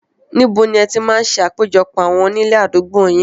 Níbo ni ẹ ti máa ń ṣe àpéjọpọ̀ àwọn onílé àdúgbò yìí?